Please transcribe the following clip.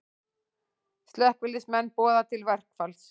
Slökkviliðsmenn boða til verkfalls